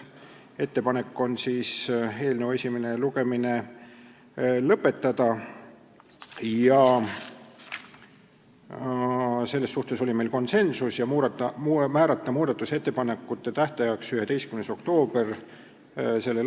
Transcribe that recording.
Ettepanek on eelnõu esimene lugemine lõpetada ja määrata muudatusettepanekute esitamise tähtajaks 11. oktoober s.